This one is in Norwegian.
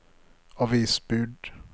avisbud